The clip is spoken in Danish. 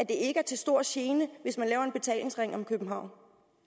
ikke er til stor gene hvis man laver en betalingsring om københavn